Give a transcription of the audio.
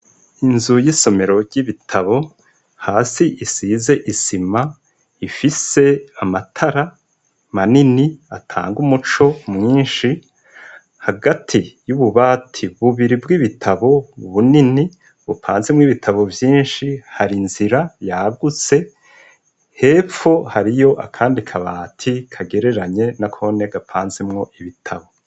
Inzu y'isomero ry'ibitabo hasi isize isima ifise amatara manini atanga umuco mwinshi hagati y'ububati bubiri bw'ibitabo bunini bupanzemwo ibitabo vyinshi hari inzira yagutse hepfo hariyo akandi kabati kagereranye nakone gapanzemwo ibitabo.